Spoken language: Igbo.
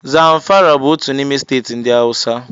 Zamfara bụ òtù n'ime steeti ndị Hausa.